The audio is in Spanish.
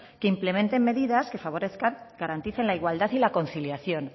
que implementen medidas que favorezcan y garanticen la igualdad y la conciliación